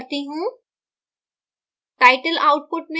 इसे compile करती हूँ